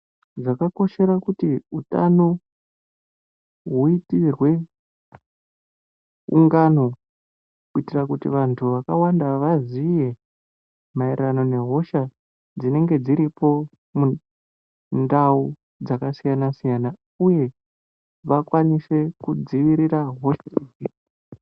Zvakakoshera kuti utano huitirwe ungano kuitire kuti vantu vakawanda vaziye maererano nehosha dzinenge dziripo mundau dzakasiyana-siyana, uye vakwanise kudzivirira hosha idzi.